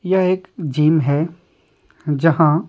यह एक जीम है जहां --